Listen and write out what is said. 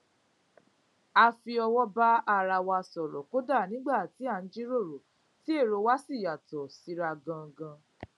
a fi òwò bá ara wa sòrò kódà nígbà tí à n jíròrò tí èrò wa sì yàtò síra ganan